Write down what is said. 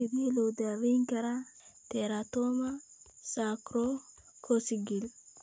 Sidee loo daweyn karaa teratoma sacrococcygeal?